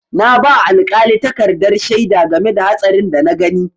Na ba alƙali takardar shaida game da hatsarin da na gani.